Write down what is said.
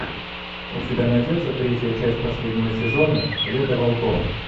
у тебя найдется третья часть последнего сезона лето волков